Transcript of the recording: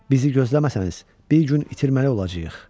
Bizi gözləməsəniz, bir gün itirməli olacağıq.